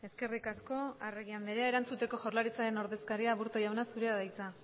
eskerrik asko arregi andrea erantzuteko jaurlaritzaren ordezkaria aburto jauna zurea da hitza